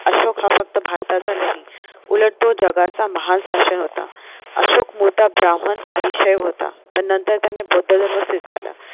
अशोक हा फक्त भारताचा नाही उलट तो जगाचा महा शासक होता अशोक मोठा ब्राम्हण आणि क्षय होता पण नंतर त्याने बौद्ध धर्म स्वीकारला